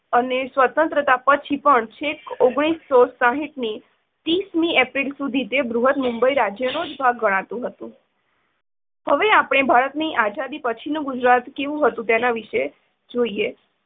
અને સ્વતન્ત્રતા પછી પણ છેક ઓગણીસો સાઠ ની ત્રીશ મી એપ્રિલ સુધી તે બૃહદ મુંબઈ રાજ્યનો ભાગ હતું. હવે આપણે ભારતની આઝાદી પછી નું ગુજરાત કેવું હતું નેતા વિષે જોઈએ.